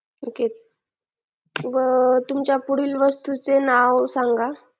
okay व तुमच्या पुढील वस्तूचे नाव सांगा